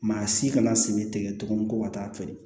Maa si kana sen tigɛ tugun ko ka taa feere